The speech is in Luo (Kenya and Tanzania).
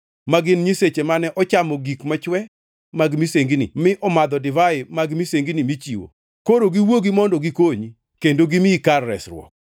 ma gin nyiseche mane ochamo gik machwe mag misengini mi omadho divai mag misengini michiwo? Koro giwuogi mondo gikonyi, kendo gimiyi kar resruok!